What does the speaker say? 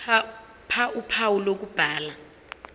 ph uphawu lokubhala